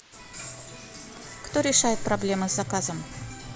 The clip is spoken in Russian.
кто решает проблемы с заказом